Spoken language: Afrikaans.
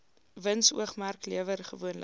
winsoogmerk lewer gewoonlik